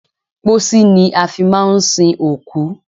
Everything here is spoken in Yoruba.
Pósí ni a fi máà ń sin òkú.